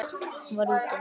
Hún var: úti.